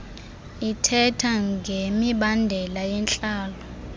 ithethe ngemibandela yentlalo